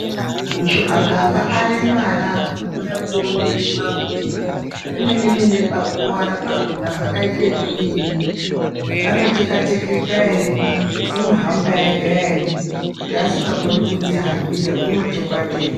Muntu akanga aremara unoda kuonekwa kuti pemene mene pakuwara pakhona pakaite ekudi anoteka tekeka ere unohamba ega ere kuti asingakoni kudzihambira unotekwa tekwa.